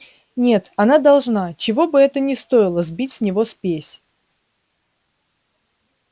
нет она должна чего бы это ни стоило сбить с него спесь